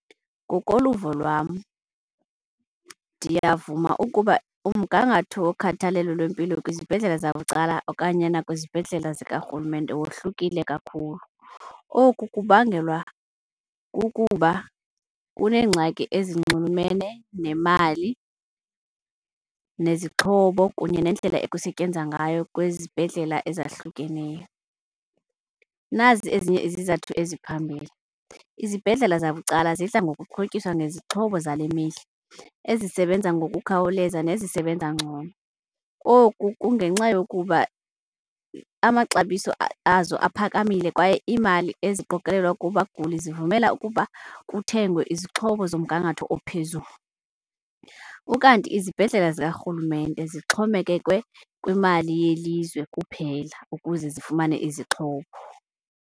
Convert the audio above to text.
Ngokoluvo lwam, ndiyavuma ukuba umgangatho wokhathalelo lwempilo kwizibhedlele zabucala okanye nakwizibhedlele zikarhulumente wohlukile kakhulu. Oku kubangelwa kukuba kuneengxaki ezinxulumene nemali, nezixhobo kunye nendlela ekusetyenzwa ngayo kwezi zibhedlela ezahlukeneyo. Nazi ezinye izizathu eziphambili, izibhedlela zabucala zidla ngokuxhotyiswa ngezixhobo zale mihla ezisebenza ngokukhawuleza nezisebenza ngcono. Oku kungenxa yokuba amaxabiso azo aphakamile kwaye imali eziqokelelwa kubaguli zivumela ukuba kuthengwe izixhobo zomgangatho ophezulu. Ukanti izibhedlela zikarhulumente zixhomekeke kwimali yelizwe kuphela ukuze zifumane izixhobo.